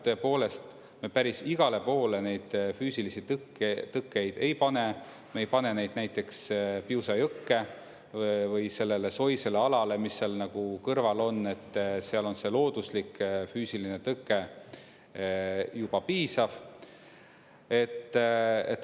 Tõepoolest, me päris igale poole neid füüsilisi tõkkeid ei pane, me ei pane neid näiteks Piusa jõkke või sellele soisele alale, mis seal kõrval on, seal on see looduslik füüsiline tõke juba piisav.